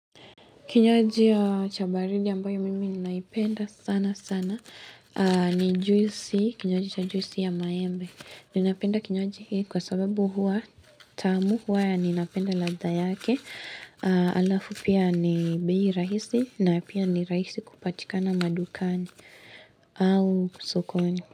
Kinywaji cha baridi ambayo mimi ninaipenda sana sana. Ni juisi, kinywaji cha juisi ya maembe. Ninapenda kinywaji hii kwa sababu huwa tamu huwa ninapenda ladha yake. Alafu pia ni bei rahisi na pia ni rahisi kupatikana madukani au sukoni.